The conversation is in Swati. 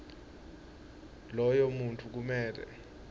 loyo muntfu kumele